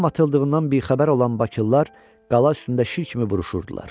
Lağım atıldığından bixəbər olan Bakılılar qala üstündə şir kimi vuruşurdular.